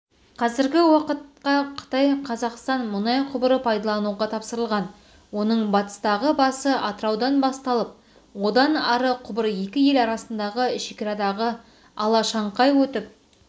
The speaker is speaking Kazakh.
қазіргі уақытқа қытай-қазақстан мұнай құбыры пайдалануға тапсырылған оның батыстағы басы атыраудан басталып одан ары құбыр екі ел арасындағы шекарадағы алашаңқай өтіп